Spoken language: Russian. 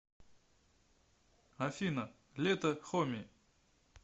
афина лето хоми